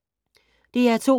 DR2